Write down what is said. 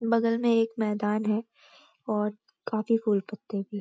बगल में एक मैदान है और काफी फूल पत्‍ते भी --